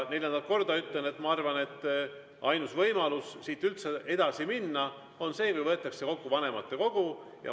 Neljandat korda ütlen, et ma arvan, et ainus võimalus siit üldse edasi minna on see, kui kutsutakse kokku vanematekogu.